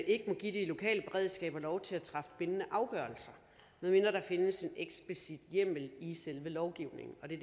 ikke må give de lokale beredskaber lov til at træffe bindende afgørelser medmindre der findes en eksplicit hjemmel i selve lovgivningen og det